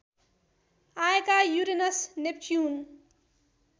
आएका Uranus Neptune